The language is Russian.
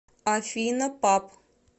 афина пап